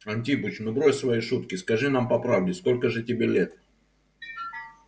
антипыч ну брось свои шутки скажи нам по правде сколько же тебе лет